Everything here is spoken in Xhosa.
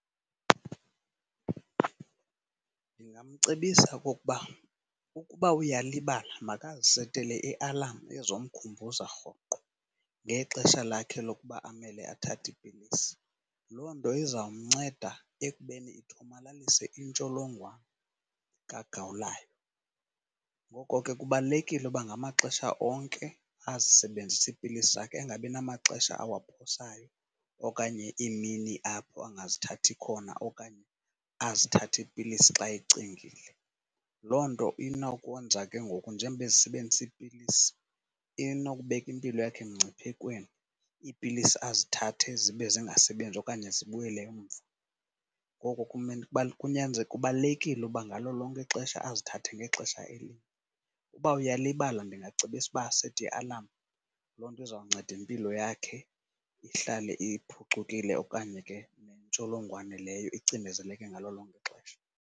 Ndingamcebisa okokuba ukuba uyalibala makazisetele ialamu ezomkhumbuza rhoqo ngexesha lakhe lokuba amele athathe iipilisi. Loo nto izawumnceda ekubeni ithomalalise intsholongwane kagawulayo. Ngoko ke kubalulekile uba ngamaxesha onke azisebenzise iipilisi zakhe, angabinamaxesha awaphosayo okanye iimini apho angazithathi khona okanye azithathe iipilisi xa ecingile. Loo nto inokwenza ke ngoku njengoba ezisebenzisa iipilisi inokubeka impilo yakhe emngciphekweni, ipilisi azithathe zibe zingasebenzi okanye zibuyele emva. Ngoko kubalulekile uba ngalo lonke ixesha azithathe ngexesha elinye. Uba uyalibala ndingacebisa uba asete ialamu, loo nto izawunceda impilo yakhe ihlale iphucukile okanye ke intsholongwane leyo icinezeleke ngalo lonke ixesha.